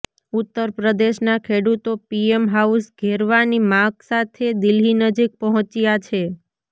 ઉત્તર પ્રદેશના ખેડૂતો પીએમ હાઉસ ઘેરવાની માગ સાથે દિલ્હી નજીક પહોંચ્યા છે